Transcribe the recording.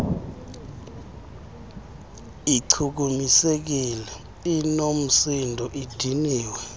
ichukumisekile inoomsindo idiniwe